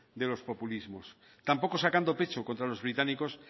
sobre los populismos tampoco sacando pecho contra los británicos